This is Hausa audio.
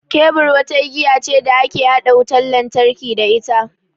Kebur wata igiya ce da ake haɗa wutan lantarki da ita.